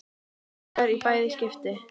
Haukar í bæði skipti.